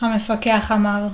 המפקח אמר